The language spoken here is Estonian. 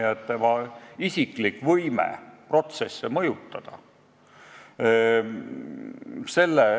Ta avastab, et tal puutub võime protsesse mõjutada.